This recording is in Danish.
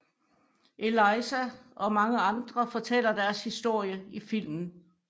Eliza og mange andre fortæller deres historie i filmen